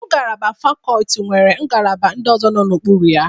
Ngalaba fakọlti nwere ngalaba ndị ọzọ nọ n'ukpuru ha.